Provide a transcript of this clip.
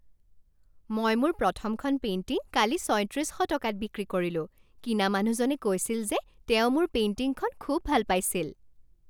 মই মোৰ প্ৰথমখন পেইণ্টিং কালি ছয়ত্ৰিছ শ টকাত বিক্ৰী কৰিলোঁ। কিনা মানুহজনে কৈছিল যে তেওঁ মোৰ পেইণ্টিংখন খুব ভাল পাইছিল!